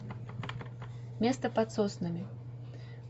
место под соснами